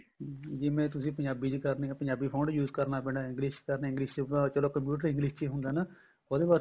ਜਿਵੇਂ ਤੁਸੀਂ ਪੰਜਾਬੀ ਚ ਕਰਨੀ ਏ ਪੰਜਾਬੀ font use ਕਰਨਾ ਪੈਣਾ English ਕਰਨਾ English ਚਲੋ computer English ਚ ਈ ਹੁੰਦਾ ਨੇ ਉਹਦੇ ਵਾਸਤੇ